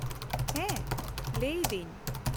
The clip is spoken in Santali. ᱦᱮᱸ, ᱞᱟᱹᱭ ᱮᱫᱟᱹᱧ ᱾